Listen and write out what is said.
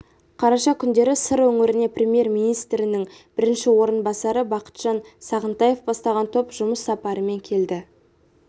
қараша күндері сыр өңіріне премьер-министрінің бірінші орынбасары бақытжан сағынтаев бастаған топ жұмыс сапарымен келді